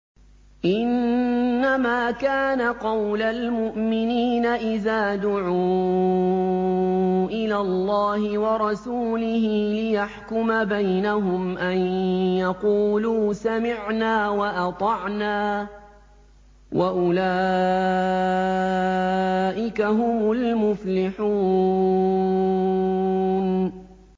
إِنَّمَا كَانَ قَوْلَ الْمُؤْمِنِينَ إِذَا دُعُوا إِلَى اللَّهِ وَرَسُولِهِ لِيَحْكُمَ بَيْنَهُمْ أَن يَقُولُوا سَمِعْنَا وَأَطَعْنَا ۚ وَأُولَٰئِكَ هُمُ الْمُفْلِحُونَ